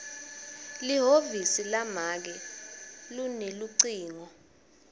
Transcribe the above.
lihhovisi lamake lunelucingo